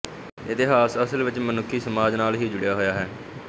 ਇਤਿਹਾਸ ਅਸਲ ਵਿੱਚ ਮਨੁੱਖੀ ਸਮਾਜ ਨਾਲ ਹੀ ਜੁੜਿਆ ਹੋਇਆ ਹੈ